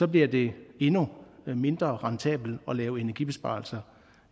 bliver det endnu mindre rentabelt at lave energibesparelser